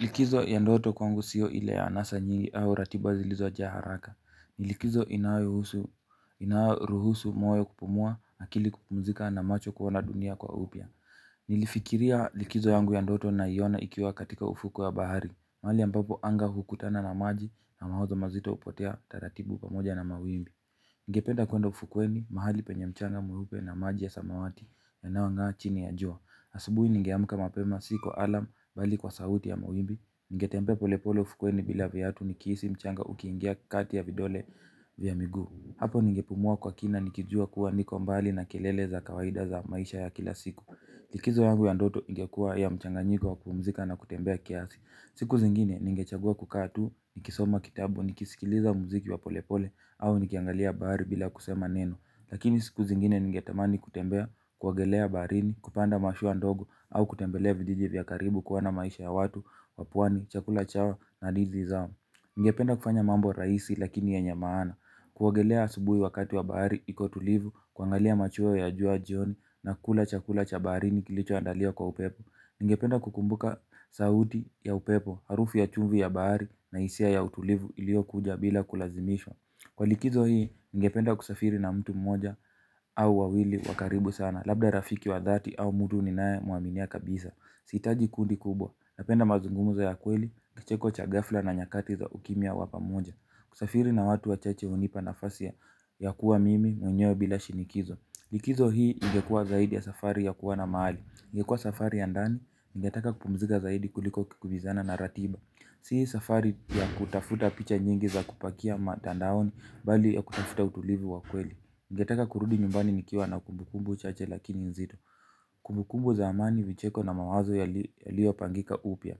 Likizo ya ndoto kwangu siyo ile ya anasa nyingi au ratiba zilizo jaa haraka. Nilikizo inayoruhusu moyo kupumua na kili kupumzika na macho kuona dunia kwa upya. Nilifikiria likizo yangu ya ndoto na iona ikiwa katika ufuko wa bahari. Mahali ambapo anga hukutana na maji na mawazo mazito hupotea taratibu pamoja na mawimbi. Ngependa kuenda ufukweni mahali penye mchanga mweupe na maji ya samawati yanayongaa chi ni ya jua. Asubuhi ningeamka mapema si kwa alarm bali kwa sauti ya mawimbi. Ningetembea polepole ufukweni bila viatu nikihisi mchanga ukiingia kati ya vidole vya miguu. Hapo ningepumua kwa kina nikijua kuwa niko mbali na kelele za kawaida za maisha ya kila siku likizo yangu ya ndoto ingekuwa ya mchanga nyiko wa kupumzika na kutembea kiasi. Siku zingine ningechagua kukaa tu nikisoma kitabu nikisikiliza muziki wa polepole au nikiangalia bahari bila kusema neno. Lakini siku zingine ningetamani kutembea, kuogelea barini, kupanda mashua ndogo. Au kutembelea vijiji vya karibu kuona maisha ya watu, wa pwani, chakula chao na ndizi zao. Ningependa kufanya mambo rahisi lakini yenye maana. Kuogelea asubuhi wakati wa bahari, ikotulivu, kuangalia machweo ya jua jioni na kula chakula chabarini kilicho andaliwa kwa upepo. Ningependa kukumbuka sauti ya upepo, harufu ya chumvi ya bahari na hisia ya utulivu iliyokuja bila kulazimishwa. Kwa likizo hii, ningependa kusafiri na mtu mmoja au wawili wakaribu sana. Labda rafiki wa dhati au mtu ninaye mwaminia kabisa. Sihitaji kundi kubwa, napenda mazungumzo ya kweli, kicheko chaghafla na nyakati za ukimya wa pamoja. Kusafiri na watu wa chache hunipa nafasi ya kuwa mimi mwenyewe bila shinikizo. Likizo hii ingekuwa zaidi ya safari ya kuwa na mahali ingekuwa safari ya ndani, ningetaka kupumzika zaidi kuliko kukimbizana na ratiba. Si safari ya kutafuta picha nyingi za kupakia matandaoni bali ya kutafuta utulivu wa kweli. Ningetaka kurudi nyumbani nikiwa na kumbukumbu chache lakini nzito. Kumbukumbu za amani vicheko na mawazo yaliyo pangika upya.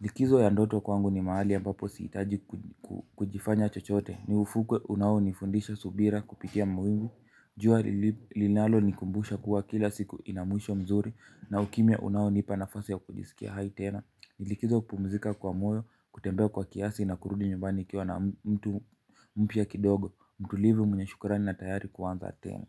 Likizo ya ndoto kwangu ni mahali ambapo sihitaji kujifanya chochote. Ni ufukwe unao nifundisha subira kupitia mawingu. Jua lilinalo nikumbusha kuwa kila siku inamwisho mzuri. Na ukimya unaonipa nafasi ya kujisikia hai tena likizo kupumzika kwa moyo, kutembea kwa kiasi na kurudi nyumbani nikiwa na mtu mpya kidogo, mtulivu mwenye shukurani na tayari kuanza tena.